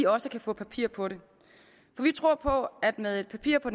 også kan få papir på det for vi tror på at med et papir på